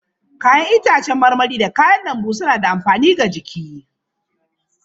Ya'yan itacen marmari da kayan lambu suna da amfani ga jiki.